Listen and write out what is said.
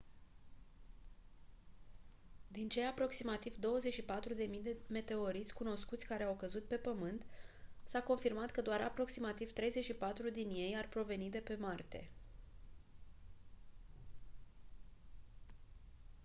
din cei aproximativ 24.000 de meteoriți cunoscuți care au căzut pe pământ s-a confirmat că doar aproximativ 34 din ei ar proveni de pe marte